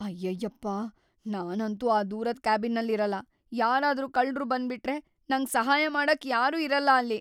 ಅಯ್ಯಯ್ಯಪ್ಪ! ನಾನಂತೂ ಆ ದೂರದ್ ಕ್ಯಾಬಿನ್ನಲ್ ಇರಲ್ಲ, ಯಾರಾದ್ರೂ ಕಳ್ರು ಬಂದ್ಬಿಟ್ರೆ ನಂಗ್ ಸಹಾಯ ಮಾಡಕ್ ಯಾರೂ ಇರಲ್ಲ ಅಲ್ಲಿ.